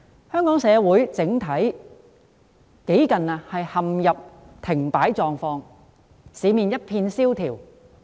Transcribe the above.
香港整體社會幾近陷入停擺狀況，市面一片蕭條。